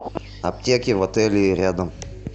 аптеки в отеле рядом